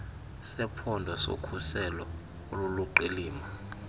sephondo sokhuselo oluliqilima